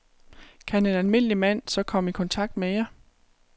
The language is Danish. Kan en almindelig mand så komme i kontakt med jer?